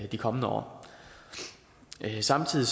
de kommende år samtidig